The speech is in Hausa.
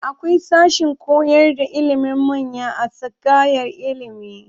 Akwai sashen koyarda ilimin manya a tsangayar ilimi.